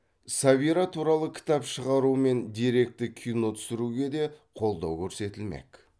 сәбира туралы кітап шығару мен деректі кино түсіруге де қолдау көрсетілмек